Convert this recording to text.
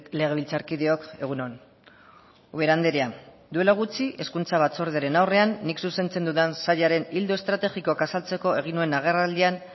legebiltzarkideok egun on ubera andrea duela gutxi hezkuntza batzordearen aurrean nik zuzentzen dudan sailaren ildo estrategikoak azaltzeko egin nuen agerraldian